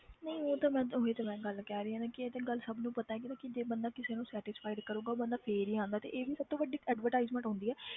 ਨਹੀਂ ਉਹ ਤਾਂ ਮੈਂ ਉਹੀ ਤਾਂ ਮੈਂ ਗੱਲ ਕਹਿ ਰਹੀ ਹਾਂ ਨਾ ਕਿ ਇਹ ਤੇ ਗੱਲ ਸਭ ਨੂੰ ਪਤਾ ਹੈ ਕਿ ਬੰਦਾ ਕਿਸੇ ਨੂੰ satisfied ਕਰੇਗਾ ਉਹ ਬੰਦਾ ਫਿਰ ਹੀ ਆਉਂਦਾ ਤੇ ਇਹ ਵੀ ਸਭ ਤੋਂ ਵੱਡੀ advertisement ਹੁੰਦੀ ਹੈ।